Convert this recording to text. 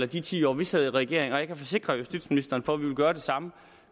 de ti år vi sad i regering og jeg kan forsikre justitsministeren om at vi vil gøre det samme